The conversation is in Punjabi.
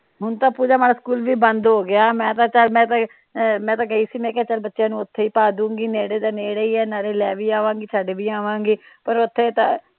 ਹੁਣ ਤਾ ਪੂਜਾ ਮਾੜਾ ਸਕੂਲ ਵੀ ਬੰਦ ਹੋਗਿਆ ਮੈ ਤਾ ਚਲ ਆ ਮੈ ਤਾ ਗਈ ਸੀ ਮੈ ਕਹਿਆ ਚਲ ਬੱਚਿਆਂ ਨੂੰ ਉੱਥੇ ਈ ਪਾਦੂਗੀ ਨੇੜੇ ਤਾ ਨੇੜੇ ਈਆ ਨਾਲੇ ਲੈ ਵੀ ਆਵਾਗੀ ਛੱਡ ਵੀ ਆਵਾਗੀ ਪਰ ਉੱਥੇ ਤਾ